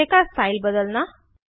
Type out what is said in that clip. display का style बदलना